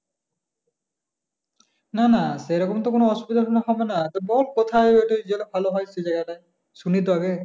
না না সেরকম তো কোনো অসুবিধা হবে না তুই বল কোথায় ভালো হয় সেই জায়গা টায় শুনি তো আগে,